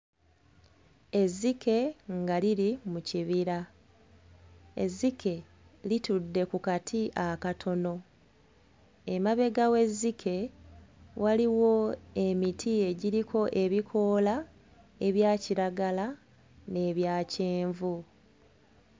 Ezzike nga liri mu kibira. Ezzike litudde ku kati akatono. Emabega w'ezzike waliwo emiti egiriko ebikoola ebya kiragala n'ebya kyenvu.